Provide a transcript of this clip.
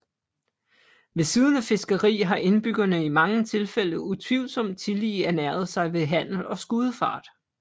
Ved siden af fiskeri har indbyggerne i mange tilfælde utvivlsomt tillige ernæret sig ved handel og skudefart